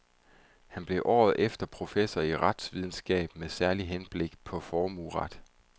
Han blev året efter professor i retsvidenskab med særligt henblik på formueret.